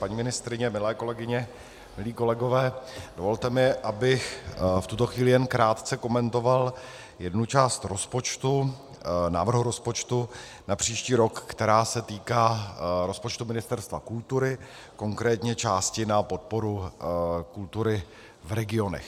Paní ministryně, milé kolegyně, milí kolegové, dovolte mi, abych v tuto chvíli jen krátce komentoval jednu část rozpočtu, návrhu rozpočtu na příští rok, která se týká rozpočtu Ministerstva kultury, konkrétně části na podporu kultury v regionech.